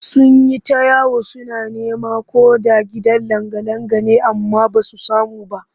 Sun yi ta yawo suna neman ko da gidan langa-langa ne amma ba su samu ba